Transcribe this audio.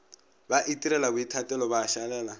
ba itirela boithatelo ba šalela